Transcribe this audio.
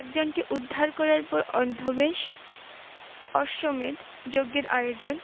একজনকে উদ্ধার করার পর অর্ধবেশ- অশ্বমেধ যজ্ঞের আয়োজন